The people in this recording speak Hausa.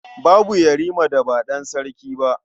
Babu Yarima da ba ɗan sarki ba.